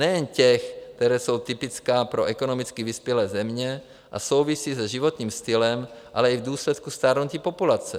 Nejen těch, která jsou typická pro ekonomicky vyspělé země a souvisí s životním stylem, ale i v důsledku stárnutí populace.